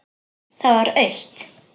Það var autt.